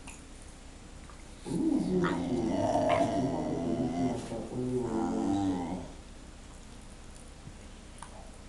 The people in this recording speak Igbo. Oleezi otú otú mmadụ pụrụ isi mata onye nwere mmụọ nsọ taa?